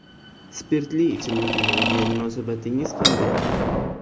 Spirtli ichimliklarga munosabatingiz qanday?